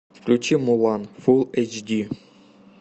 включи мулан фулл эйч ди